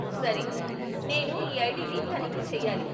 సరే, నేను ఈ ఐడిని తనిఖీ చెయ్యాలి.